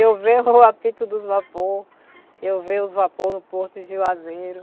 Eu ver o apito dos vapores, eu ver os vapor no Porto de Juazeiro.